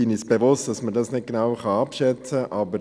Wir sind uns bewusst, dass man das nicht genau abschätzen kann.